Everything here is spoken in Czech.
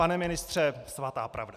Pane ministře, svatá pravda.